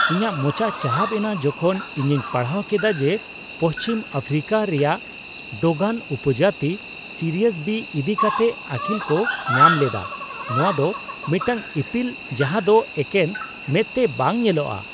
ᱤᱧᱟᱹᱜ ᱢᱚᱪᱟ ᱪᱟᱦᱟᱵ ᱮᱱᱟ ᱡᱚᱠᱷᱚᱱ ᱤᱧᱤᱧ ᱯᱟᱲᱦᱟᱣ ᱠᱮᱫᱟ ᱡᱮ ᱯᱚᱥᱪᱷᱤᱢ ᱟᱯᱷᱨᱤᱠᱟ ᱨᱮᱭᱟᱜ ᱰᱚᱜᱚᱱ ᱩᱯᱚᱡᱟᱹᱛ ᱥᱤᱨᱤᱭᱟᱥ ᱵᱤ ᱤᱫᱤᱠᱟᱛᱮ ᱟᱹᱠᱤᱞᱠᱚ ᱧᱟᱢ ᱞᱮᱫᱟ, ᱱᱚᱶᱟᱫᱚ ᱢᱤᱫᱴᱟᱝ ᱤᱯᱤᱞ ᱡᱟᱦᱟᱸᱫᱚ ᱮᱠᱮᱱ ᱢᱮᱸᱫᱛᱮ ᱵᱟᱝ ᱧᱮᱞᱚᱜᱼᱟ ᱾